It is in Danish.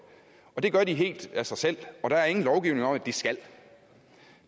det gør de helt af sig selv der er ingen lovgivning om at de skal